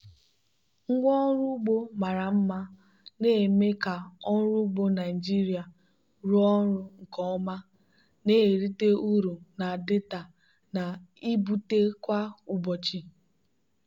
ngwa ọrụ ugbo mara mma na-eme ka ọrụ ugbo naijiria rụọ ọrụ nke ọma na-erite uru na data na-ebute kwa ụbọchị.